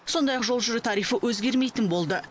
сондай ақ жол жүру тарифі өзгермейтін болды